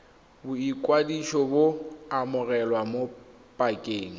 boikwadiso bo amogelwa mo pakeng